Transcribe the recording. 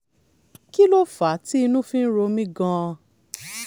kí ló fà á tí inú fi ń ro mí gan-an?